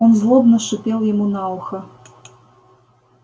он злобно шипел ему на ухо